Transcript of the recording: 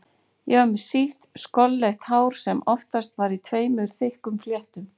Ég var með sítt skolleitt hár sem oftast var í tveimur þykkum fléttum.